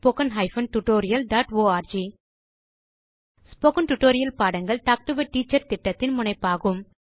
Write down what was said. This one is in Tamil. contactspoken tutorialorg ஸ்போகன் டுடோரியல் பாடங்கள் டாக் டு எ டீச்சர் திட்டத்தின் முனைப்பாகும்